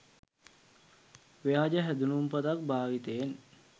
ව්‍යාජ හැදුනුම්පතක් භාවිතයෙන්